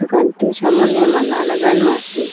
দুকানটির সামোনে মালা লাগানো আসে ।